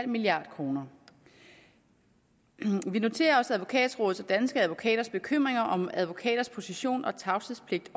milliard kroner vi noterer os advokatrådets og danske advokaters bekymringer om advokaters position og tavshedspligt i